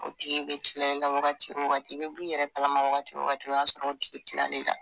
O tigi bi kila ila wagati o wagati i be b'i yɛrɛ kalama wagati o wagati o y'a sɔrɔ o tigi kilala ila